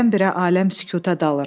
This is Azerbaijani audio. Birdən-birə aləm sükuta dalır.